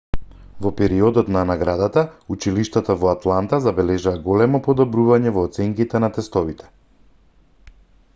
во периодот на наградата училиштата во атланта забележаа големо подобрување во оценките на тестовите